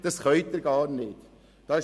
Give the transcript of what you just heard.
Sie können dies nicht kontrollieren.